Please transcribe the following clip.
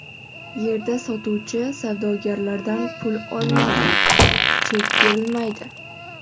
Yerda sotuvchi savdogarlardan pul olinadi, chek berilmaydi.